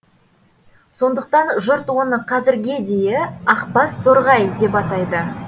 сондықтан жұрт оны қазірге дейі ақбас торғай деп атайды